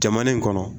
Jamana in kɔnɔ